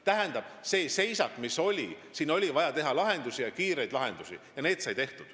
Tähendab, siin oli seisak, kus meil oli vaja kiireid lahendusi, mis saidki tehtud.